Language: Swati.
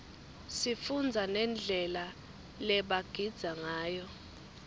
sifundza nendlela lebagidza ngayo